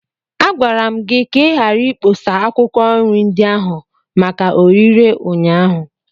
Agwara m gị ka ị ghara ikpọsa akwụkwọ nri ndị ahụ maka orịre ụnyaahụ!